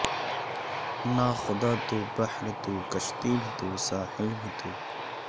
نا خدا تو بحر تو کشتی بھی تو ساحل بھی تو